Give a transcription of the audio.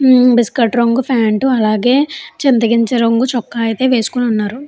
ఉమ్మ్ బిస్కెట్ రంగు ప్యాంటు అలాగే చింత గింజ రంగు చొక్కా అయితే వేసుకుని ఉన్నారు.